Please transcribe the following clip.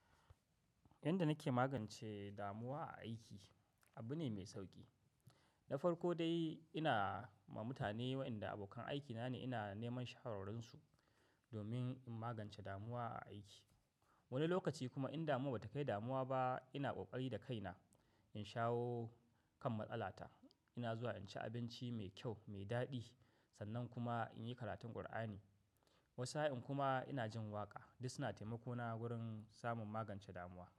Yanda nake magance damuwa a aiki, abu ne mai sauki. Na farko dai ina ma mutane waɗanda abokan aiki na ne ina neman shawararsu domin in magance damuwa a aiki. Wani lokaci kuma in damuwa ba ta kai damuwa ba, ina ƙoƙari da kaina in shawo kan matsala ta. Ina zuwa in ci abinci mai kyau mai daɗi, sannan kuma in yi karatun Kur'ani. Wata sa'in kuma ina jin waƙa, duk suna taimako na wurin samun magancen damuwa.